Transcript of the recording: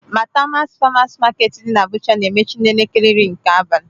Maitama Farmers Market dị n'Abụja na-emechi n'elekere iri nke abalị.